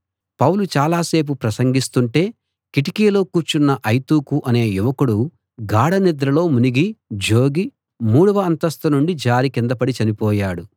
పౌలు చాలాసేపు ప్రసంగిస్తుంటే కిటికీలో కూర్చున్న ఐతుకు అనే యువకుడు గాఢ నిద్రలో మునిగి జోగి మూడవ అంతస్తు నుండి జారి కింద పడి చనిపోయాడు